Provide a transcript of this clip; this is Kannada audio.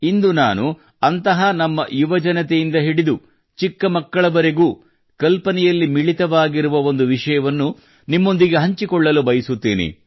ಇಂದು ನಾನು ಅಂತಹ ನಮ್ಮ ಯುವಜನತೆ ಮತ್ತು ಚಿಕ್ಕ ಚಿಕ್ಕ ಮಕ್ಕಳ ಕಲ್ಪನೆಯಲ್ಲಿ ಮಿಳಿತವಾಗಿರುವ ಒಂದು ವಿಷಯವನ್ನು ನಿಮ್ಮೊಂದಿಗೆ ಹಂಚಿಕೊಳ್ಳಲು ಬಯಸುತ್ತೇನೆ